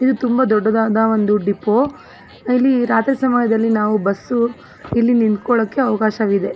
ಇದು ತುಂಬಾ ದೊಡ್ಡದಾದ ಒಂದು ಡಿಪೋ ಇಲ್ಲಿ ರಾತ್ರಿ ಸಮಯದಲ್ಲಿ ನಾವು ಬಸ್ ಇಲ್ಲಿ ನಿಂತ್ಕೊಳಕ್ಕೆ ಅವಕಾಶವಿದೆ.